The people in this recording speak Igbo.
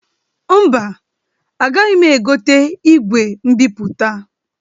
Mba, agaghị egote igwe mbipụta.